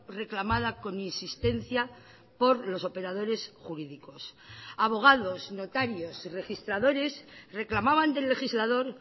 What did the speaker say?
reclamada con insistencia por los operadores jurídicos abogados notarios y registradores reclamaban del legislador